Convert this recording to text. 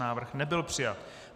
Návrh nebyl přijat.